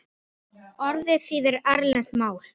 Orðið þýðir erlent mál.